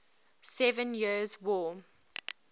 seven years war